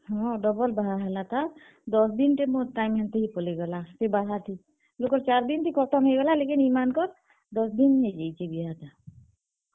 ହଁ, double ବାହା ହେଲା ତାର୍ ଦଶ ଦିନ୍ ଟେ ମୋର୍ time ହେନ୍ ତି ହି ପଲେଇ ଗଲା ହେ ବାହା ଥି। ଲୁକର୍ ଚାର୍ ଦିନ୍ ଥି ଖତମ୍ ହେଇଗଲା ଲେକିନ୍ ଇମାନଙ୍କର୍, ଦଶ ଦିନ୍ ହେଇଯାଇଛେ ବିହା ଟା।